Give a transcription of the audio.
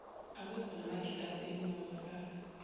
awekho namagilavu engingawafaka